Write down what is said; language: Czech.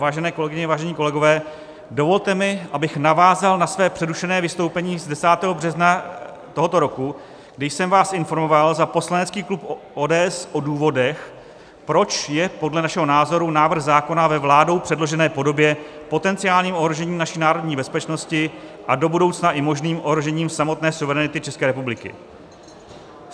Vážené kolegyně, vážení kolegové, dovolte mi, abych navázal na své přerušené vystoupení z 10. března tohoto roku, kdy jsem vás informoval za poslanecký klub ODS o důvodech, proč je podle našeho názoru návrh zákona ve vládou předložené podobě potenciálním ohrožením naší národní bezpečnosti a do budoucna i možným ohrožením samotné suverenity České republiky.